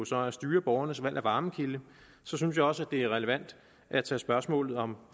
så at styre borgernes valg af varmekilde synes jeg også det er relevant at tage spørgsmålet om